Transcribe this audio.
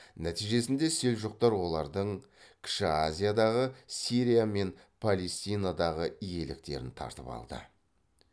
нәтижесінде селжұқтар олардың кіші азиядағы сирия мен палестинадағы иеліктерін тартып алды